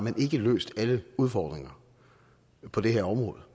løst alle udfordringer på det her område